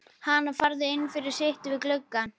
Hana, farðu inn fyrir, sittu við gluggann.